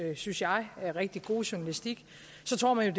synes jeg rigtig gode journalistik så tror man jo